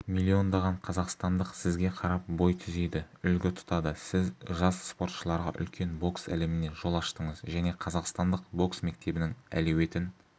миллиондаған қазақстандық сізге қарап бой түзейді үлгі тұтады сіз жас спортшыларға үлкен бокс әлеміне жол аштыңыз және қазақстандық бокс мектебінің әлеуетін